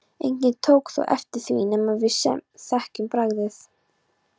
Enginn tók þó eftir því nema við sem þekkjum bragðið.